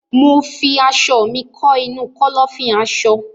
Mo fi aṣọ mi kọ́ inu Kọ́lọ́fín aṣọ